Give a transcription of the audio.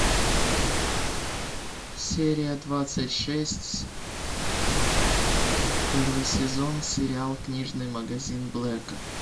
серия двадцать шесть первый сезон сериал книжный магазин блэка